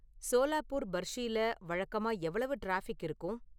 சோலாப்பூர் பர்ஷில வழக்கமா எவ்வளவு டிராஃபிக் இருக்கும்